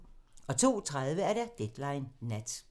02:30: Deadline Nat